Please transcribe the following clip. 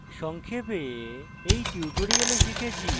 সংক্ষেপে আমরা কি শিখেছি